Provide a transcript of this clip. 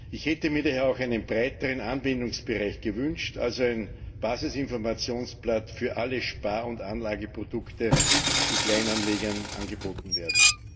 Ich hätte mir daher auch einen breiteren Anwendungsbereich gewünscht, also ein Basisinformationsblatt für alle Spar und Anlageprodukte, die Kleinanlegern angeboten werden.